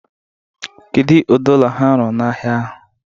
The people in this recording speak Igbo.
Kedu ụdị ụlọ ha rụrụ n' ahịa ahụ?